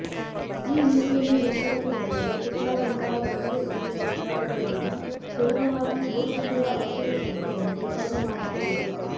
ಈ ನೀತಿಯನ್ನು ಹಿಂಪಡೆಯುವುದೆಂದರೆ ಸಿಪ್ಲಾದಂತಹ ಜೆನೆರಿಕ್ ಔಷಧ ಉತ್ಪಾದಕರನ್ನು ಸುಲಭವಾಗಿ ಬಹುರಾಷ್ಟ್ರೀಯ ಔಷಧ ಸಂಸ್ಥೆಗಳಿಗೆ ವರ್ಗ ಮಾಡಬಹುದು